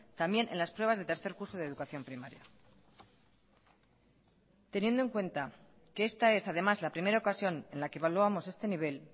también en las pruebas de tercer curso de educación primaria teniendo en cuenta que esta es además la primera ocasión en la que evaluamos este nivel